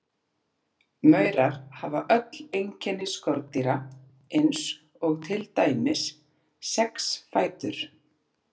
Maurar hafa öll einkenni skordýra eins og til dæmis sex fætur.